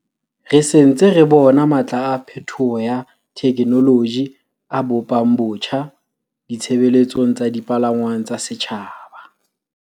"Re se ntse re bona matla a phethoho ya thekenoloji a bo pang botjha ditshebeletso tsa dipalangwang tsa setjhaba."